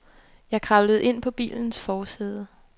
Jeg kravlede ind på bilens forsæde.